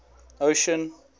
ocean